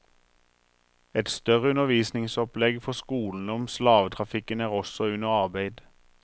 Et større undervisningsopplegg for skolene om slavetrafikken er også under arbeid.